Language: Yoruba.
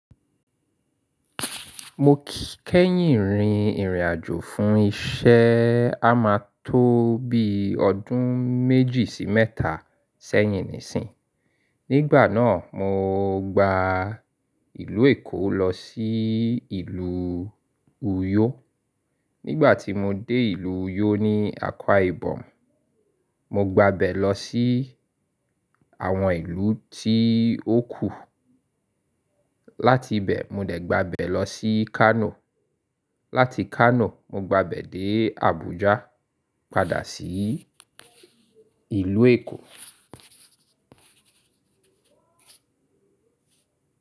Mo kẹ́yìn rin ìrìn àjò fún iṣẹ́ a máa tó bí ọdún méjì sí mẹ́ta sẹ́yìn nísìń. Nígbàná mo gba ìlú Èkó lọ sí ìlú Uyo. Nígbà tí mo dé ìlú Uyo ní Akwa Ibom, mo gba bẹ̀ lọ sí àwọn ìlú tí ó kù. Láti ibẹ̀ mo dẹ̀ gba bẹ̀ lọ sí Kano. Láti Kano mo gba bẹ̀ dé Abuja padà sí ìlú Èkó.